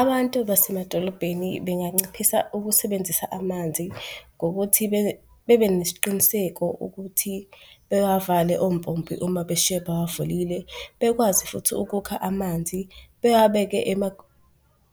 Abantu basemadolobheni benganciphisa ukusebenzisa amanzi ngokuthi bebenesiqiniseko ukuthi bewavale ompompi uma beshiye bewavulile. Bekwazi futhi ukukha amanzi bewabeke